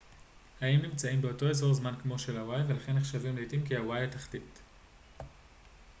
האיים נמצאים באותו אזור זמן כמו של הוואי ולכן נחשבים לעתים כ הוואי התחתית